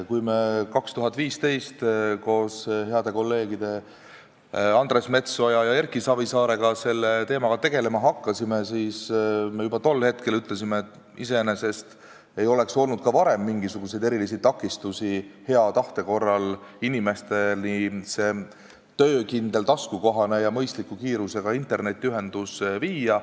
Kui me 2015. aastal koos heade kolleegide Andres Metsoja ja Erki Savisaarega selle teemaga tegelema hakkasime, siis me ütlesime juba tol ajal, et iseenesest ei oleks ka varem olnud mingisuguseid erilisi takistusi, et hea tahte korral see töökindel, taskukohane ja mõistliku kiirusega internetiühendus inimesteni viia.